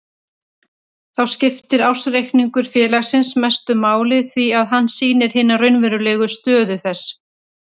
Þá skiptir ársreikningur félagsins mestu máli því að hann sýnir hina raunverulegu stöðu þess.